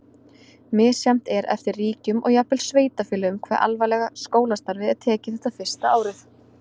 Misjafnt er eftir ríkjum og jafnvel sveitarfélögum hve alvarlega skólastarfið er tekið þetta fyrsta ár.